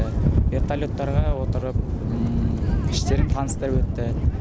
вертолеттарға отырып іштерін таныстырып өтті